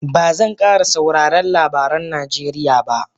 Ba zan kara sauraren labaran Najeriya ba